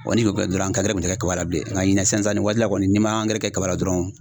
Wa ni ko kɛ dɔrɔn angɛrɛ kun tɛ kɛ kaba la bilen nka ɲinɛ sisan sisan ni waati la kɔni n'i ma angɛrɛ kɛ kaba dɔrɔn